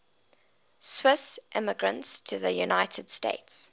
swiss immigrants to the united states